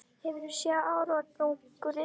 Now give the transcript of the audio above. Hefurðu séð árangurinn?